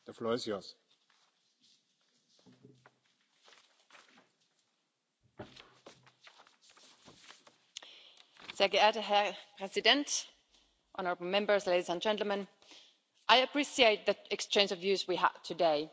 Mr President, honourable Members, ladies and gentlemen, I appreciate the exchange of views we have had today.